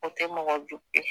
O tɛ mɔgɔ jugu ye